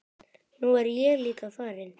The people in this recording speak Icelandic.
Nú er ég líka farinn.